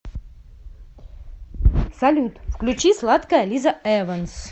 салют включи сладкая лиза эванс